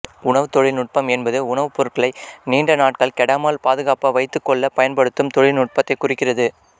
உணவுத் தொழில் நுட்பம் என்பது உணவுப்பொருட்களை நீண்ட நாட்கள் கெடாமல் பாதுகாப்பாக வைத்துக்கொள்ள பயன்படுத்தும் தொழில் நுட்பத்தை குறிக்கிறது